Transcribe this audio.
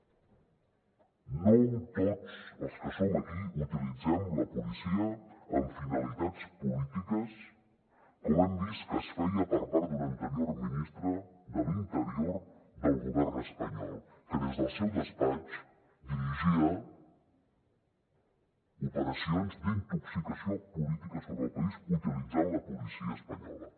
no tots els que som aquí utilitzem la policia amb finalitats polítiques com hem vist que es feia per part d’un anterior ministre de l’interior del govern espanyol que des del seu despatx dirigia operacions d’intoxicació política sobre el país utilitzant la policia espanyola